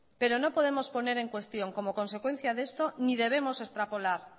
pero no podemos poner en cuestión como consecuencia de esto ni debemos extrapolar